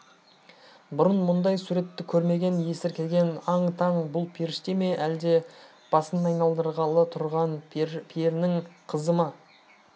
бұрын мұндай суретті көрмеген есіркеген аң-таң бұл періште ме әлде басын айналдырғалы тұрған перінің қызы ма